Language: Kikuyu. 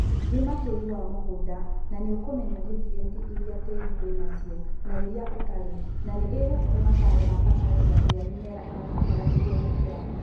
thima tĩri wa mũgũnda na nĩũkũmenya niutrienti iria tĩri wa nacio na iria ũtarĩ na nĩĩgũkuhe mataro ma bataraitha ĩrĩa mĩmera ĩrabatara nĩguo gũkũra.